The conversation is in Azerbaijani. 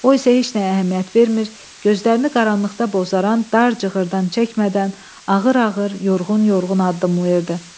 O isə heç nəyə əhəmiyyət vermir, gözlərini qaranlıqda bozaran dar cığırdan çəkmədən, ağır-ağır, yorğun-yorğun addımlayırdı.